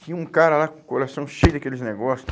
Tinha um cara lá com o coração cheio daqueles negócio.